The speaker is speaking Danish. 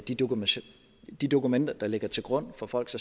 de dokumenter de dokumenter der ligger til grund for folks